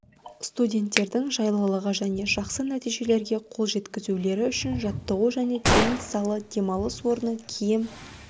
студенттердің жайлылығы және жақсы нәтижелерге қол жеткізулері үшін жаттығу және теннис залы демалыс орны киім